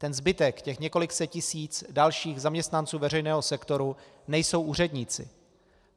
Ten zbytek, těch několik set tisíc dalších zaměstnanců veřejného sektoru, nejsou úředníci.